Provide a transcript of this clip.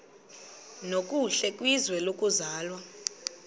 nokuhle kwizwe lokuzalwa